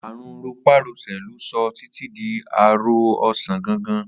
Àrùn ro̩pá-ro̩sè̩ ló so̩ Titi di aro̩ ò̩sán gangan